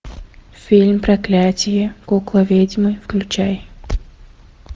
фильм проклятие куклы ведьмы включай